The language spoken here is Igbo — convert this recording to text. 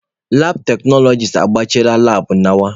Labụ teknọlọgis agbachiela labụ nawa.